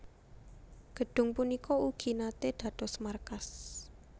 Gedhung punika ugi naté dados markas